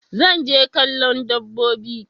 Zan je kallo dabbobi.